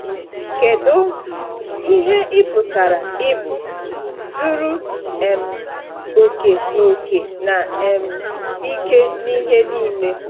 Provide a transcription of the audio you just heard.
Kedu ihe ị pụtara ịbụ “zuru um oke na oke na um ike n’ihe niile”?